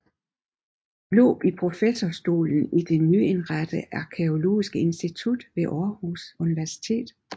Glob i professorstolen i det nyindrettede arkæologiske institut ved Aarhus Universitet